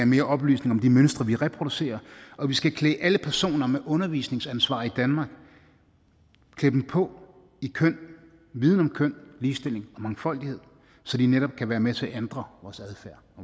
mere oplysning om de mønstre vi reproducerer og vi skal klæde alle personer med undervisningsansvar i danmark på i køn viden om køn ligestilling og mangfoldighed så de netop kan være med til at ændre vores adfærd